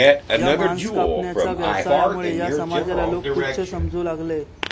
या मांस कापण्याचा व्यवसायामुळे या समाजाला लोक तुच्छ समजू लागले